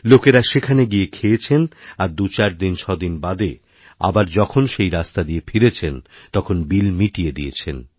লোকেরা সেখানে গিয়ে খেয়েছেন আর দুইচারছয়দিন বাদে আবার যখন সেইরাস্তা দিয়ে ফিরেছেন তখন বিল মিটিয়ে দিয়েছেন